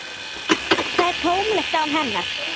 Það er tómlegt án hennar.